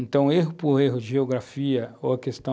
Então, erro por erro, geografia ou a questão